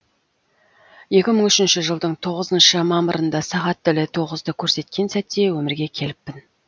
екі мың үшінші жылдың тоғызыншы мамырында сағат тілі тоғызды көрсеткен сәтте өмірге келіппін